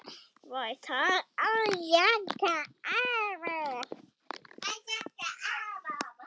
Jakka yfir?